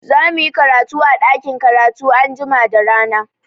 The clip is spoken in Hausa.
Za muyi karatu a ɗakin karatu anjima da rana.